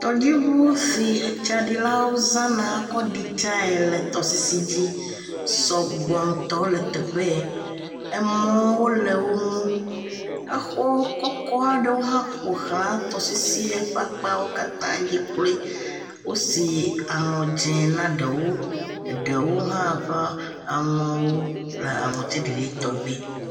Tɔdziŋu si etsaɖilawo zana kɔ ɖi tsae le tɔdzi sɔgbɔ ŋutɔ le teƒe ye, emɔwo le woŋu, exɔ kɔkɔ aɖewo hã ƒoxla tɔsisie ƒe akpawo katã dzi kloe, wosi aŋɔ dze na ɖewo, eɖewo hã ƒe aŋɔwo le aŋutiɖiɖi tɔ gbe.